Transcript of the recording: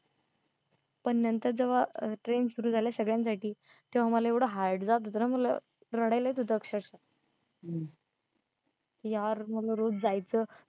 पण नंतर जेव्हा train सुरु झाल्या सगळ्यांसाठी तेव्हा मला येवढ hard जात होतं ना मला रडायला येत होता अक्षरशः यार मला रोज जायचं